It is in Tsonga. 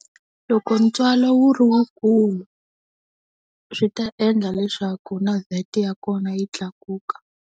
Loko ntswalo wu ri wukulu swi ta endla leswaku na VAT ya kona yi tlakuka.